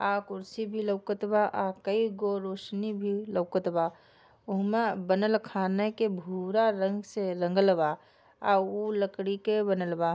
आ कुर्सी भी लउकत बा आ कई गो रोशनी भी लउकत बा उहमा बनल खाने के भूरा रंग से रंगलवा आ ऊ लकड़ी के बनल बा।